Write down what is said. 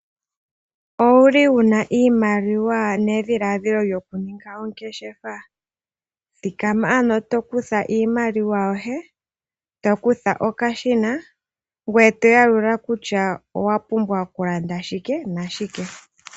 Owuli wuna iimaliwa nedhiladhilo lyokuninga oongeshefa, thikama ano eto kutha iimaliwa yoye eto kutha okashina ngoye to yalula kutya owapumbwa okulanda shike nashike.